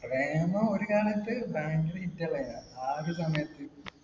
പ്രേമം ഒരു കാലത്ത് ഭയങ്കര hit അല്ലേനാ. ആദ്യ സമയത്ത്